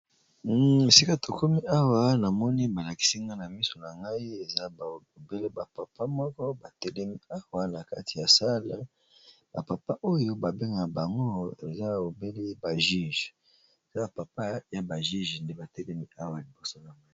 Esika to komi awa na moni ba lakisi nga na miso na ngai eza obele ba papa moko ba telemi awa na kati ya sala ba papa oyo ba bengaka bango eza aobele ba juge eza ba papa ya ba juje nde ba telemi awa liboso.